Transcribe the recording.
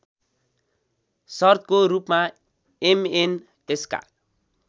शर्तको रूपमा एमएनएसका